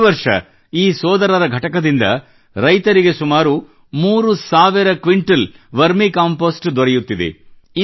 ಪ್ರತಿ ವರ್ಷ ಈ ಸೋದರರ ಘಟಕದಿಂದ ರೈತರಿಗೆ ಸುಮಾರು ಮೂರು ಸಾವಿರ ಕ್ವಿಂಟಾಲ್ ವರ್ಮಿ ಕಂಪೆÇೀಸ್ಟ್ ದೊರೆಯುತ್ತಿದೆ